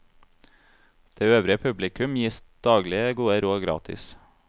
Det øvrige publikum gis daglige gode råd gratis.